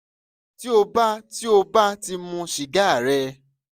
ti o ba ti o ba ti mu siga rẹ